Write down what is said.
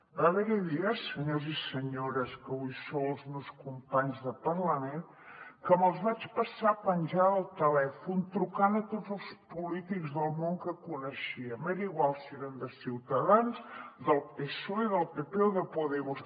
va haver hi dies senyors i senyores que avui sou els meus companys de parlament que me’ls vaig passar penjada del telèfon trucant a tots els polítics del món que coneixia m’era igual si eren de ciutadans del psoe del pp o de podemos